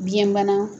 Biyɛnbana